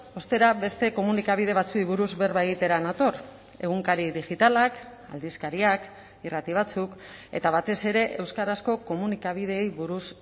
ostera beste komunikabide batzuei buruz berba egitera nator egunkari digitalak aldizkariak irrati batzuk eta batez ere euskarazko komunikabideei buruz